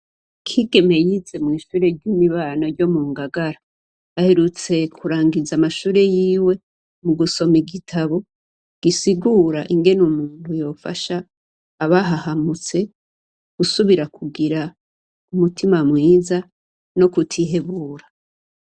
Kigeme yize mw'ishure ry'imibano ryo mu Ngagara. Aherutse kurangiza amashure yiwe mu gusoma igitabu gisigura ingene umuntu yofasha abahahamutse gusubira kugira umutima mwiza no kutihebura.